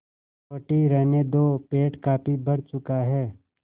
रोटी रहने दो पेट काफी भर चुका है